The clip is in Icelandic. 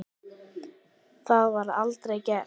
Það var aldrei gert.